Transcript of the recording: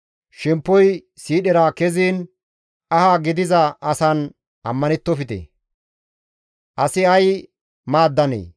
Shemppoy siidhera keziin aha gidiza asan ammanettofte; asi ay maaddanee?